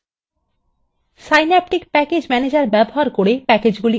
প্যাকেজগুলি install করার জন্য synaptic package manager ব্যবহার করুন